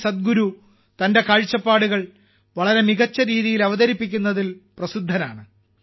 സദ്ഗുരു തന്റെ കാഴ്ചപ്പാടുകൾ വളരെ മികച്ച രീതിയിൽ അവതരിപ്പിക്കുന്നതിൽ പ്രസിദ്ധനാണ്